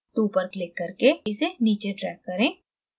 2 पर click करके इसे नीचे drag करें